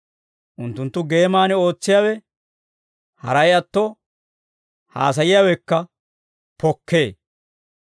Unttunttu geeman ootsiyaawe haray atto haasayiyaawekka pokkee.